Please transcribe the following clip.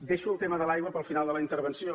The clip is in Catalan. deixo el tema de l’aigua per al final de la intervenció